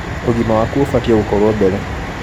ũgima waku ũbatie gũkorwo mbere